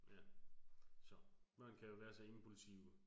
ja så. Børn kan jo være impulsive